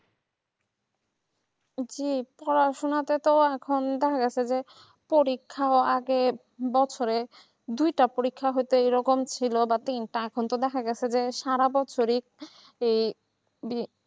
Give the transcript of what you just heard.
জি পড়াশোনা তো তো এখন বাংলাতে পরীক্ষার আগের বছরের দুইটা পরীক্ষা হতে ঐরকম ভাই এখন তো দেখা গেছে যে সারা বছরে এই দিয়ে